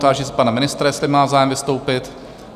Táži se pana ministra, jestli má zájem vystoupit?